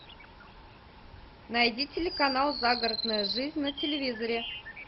найди телеканал загородная жизнь на телевизоре